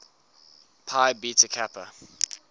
phi beta kappa